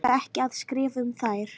En ég orka ekki að skrifa um þær.